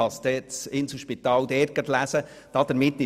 Das Inselspital wird dies dort lesen können.